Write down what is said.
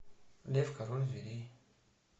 лев король зверей